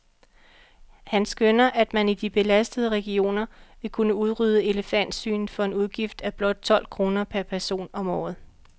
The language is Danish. Han skønner, at man i de belastede regioner vil kunne udrydde elefantsygen for en udgift af blot tolv kroner per person om året.